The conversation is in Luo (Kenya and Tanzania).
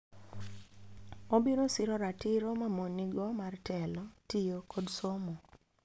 Obiro siro ratiro ma mon nigo mar telo, tiyo, kod somo.